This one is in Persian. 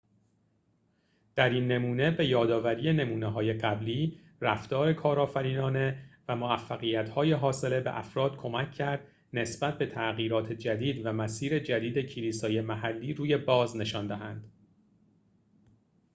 در این نمونه به‌یادآوری نمونه‌های قبلی رفتار کارآفرینانه و موفقیت‌های حاصله به افراد کمک کرد نسبت به تغییرات جدید و مسیر جدید کلیسای محلی روی باز نشان دهند